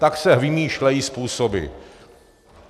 Tak se vymýšlejí způsoby.